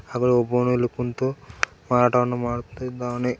ಹಗ್ಲೂ ಒಬ್ಬನ್ ಇಲ್ಲಿ ಕುಂತು ಮಾರಾಟವನ್ನು ಮಾಡುತ್ತಿದ್ದಾನೆ.